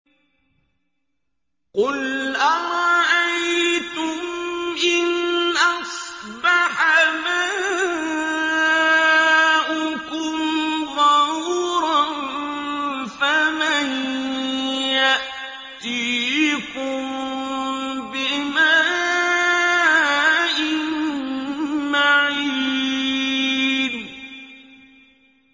قُلْ أَرَأَيْتُمْ إِنْ أَصْبَحَ مَاؤُكُمْ غَوْرًا فَمَن يَأْتِيكُم بِمَاءٍ مَّعِينٍ